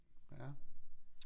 Ja